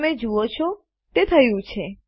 તમે જુઓ છો તે થયું છે